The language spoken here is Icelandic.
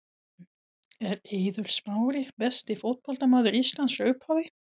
Er Eiður Smári besti fótboltamaður Íslands frá upphafi?